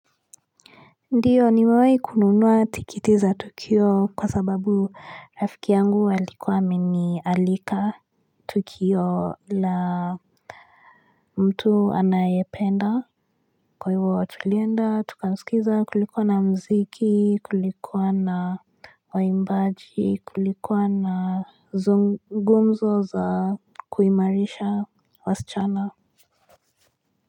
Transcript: Ndiyo niwehe kununua tikiti za tukio kwa sababu rafki yangu walikuwa mini alika tukio la mtu anayependa kwa hivyo tulienda tuka sikiza kulikuwa na mziki kulikuwa na waimbaji kulikuwa na zungumzo za kuimarisha wasichana.